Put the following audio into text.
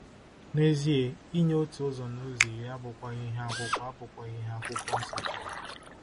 N'ezie, inye otu ụzọ n'ụzọ iri abụkwaghị ihe Akwụkwọ abụkwaghị ihe Akwụkwọ Nsọ chọrọ.